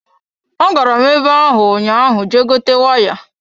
Agara m ebe hụ ụnyaahụ Je gote waya.